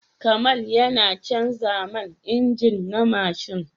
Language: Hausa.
Kamal yana canza man injin na mashin.